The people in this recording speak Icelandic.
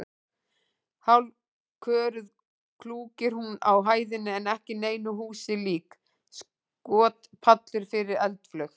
Hálfköruð klúkir hún á hæðinni ekki neinu húsi lík: skotpallur fyrir eldflaug?